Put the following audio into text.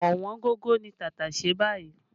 Ọ̀wọ́ngógó ni tàtàṣé báyìí